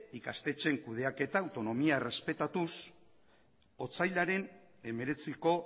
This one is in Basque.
ikastetxeen kudeaketan autonomia errespetatuz otsailaren hemeretziko